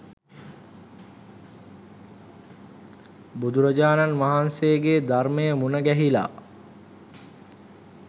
බුදුරජාණන් වහන්සේගේ ධර්මය මුණගැහිලා